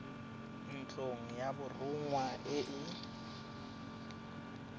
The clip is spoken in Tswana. ntlong ya borongwa e e